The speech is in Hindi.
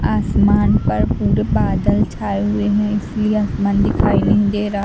आसमान पर पूरे बादल छाए हुए हैं इसलिए आसमान दिखाई नहीं दे रहा।